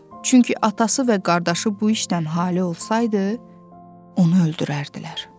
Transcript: Çünki atası və qardaşı bu işdən halı olsaydı, onu öldürərdilər.